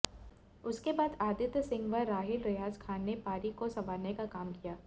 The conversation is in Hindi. उसके बाद आदित्य सिंह व राहिल रेयाज खान ने पारी को संवारने का काम किया